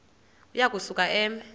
uya kusuka eme